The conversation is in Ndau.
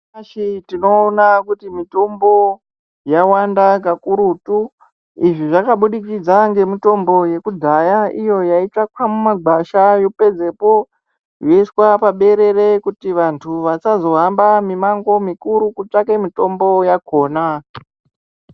Tinoona kuti mitombo yawanda kakurutu, izvi zvakabudikidza ngemitombo yekudhaya iyo yaitsvakwa mumagwasha yopedzepo yoiswa paberere kuti vantu vasazohamba mimango mikurutu kutsvake mitombo yakhona.